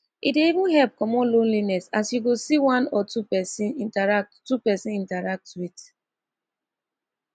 e dey help comot lonliness as yu go see one or two pesin interact two pesin interact wit